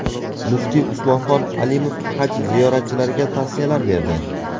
Muftiy Usmonxon Alimov haj ziyoratchilariga tavsiyalar berdi.